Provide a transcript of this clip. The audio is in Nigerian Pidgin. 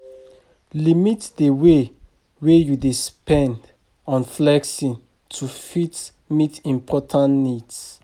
Limit di way wey you dey spend on flexing to fit meet important needs